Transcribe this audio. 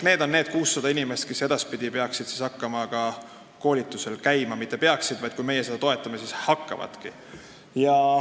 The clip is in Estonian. Need 600 inimest peaksid edaspidi hakkama ka koolitusel käima .